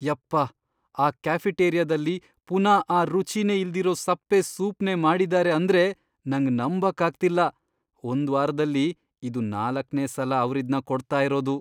ಯಪ್ಪ, ಆ ಕೆಫೆಟೇರಿಯಾದಲ್ಲಿ ಪುನಾ ಆ ರುಚಿನೇ ಇಲ್ದಿರೋ ಸಪ್ಪೆ ಸೂಪ್ನೇ ಮಾಡಿದಾರೆ ಅಂದ್ರೆ ನಂಗ್ ನಂಬಕ್ಕಾಗ್ತಿಲ್ಲ. ಒಂದ್ವಾರದಲ್ಲಿ ಇದು ನಾಲಕ್ನೇ ಸಲ ಅವ್ರಿದ್ನ ಕೊಡ್ತಾ ಇರೋದು.